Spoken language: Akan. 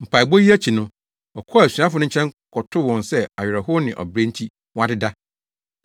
Mpaebɔ no akyi no, ɔkɔɔ asuafo no nkyɛn kɔtoo wɔn sɛ awerɛhow ne ɔbrɛ nti, wɔadeda.